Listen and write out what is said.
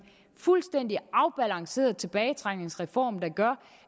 fuldstændig afbalanceret tilbagetrækningsreform der gør